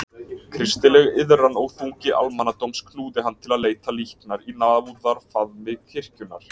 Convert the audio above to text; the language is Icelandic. Kristileg iðran og þungi almannadóms knúði hann til að leita líknar í náðarfaðmi kirkjunnar.